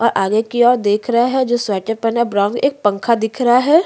और आगे की ओर देख रहे है जो स्वेटर पहना है ब्राउन एक पंखा दिख रहा है।